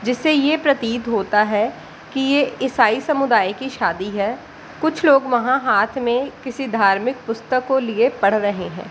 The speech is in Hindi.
जिससे ये प्रतीत होता है की ये ईसाई समुदाय की शादी है कुछ लोग वहाँ हाथ में किसी धार्मिक पुस्तक को लिए पढ़ रहे है।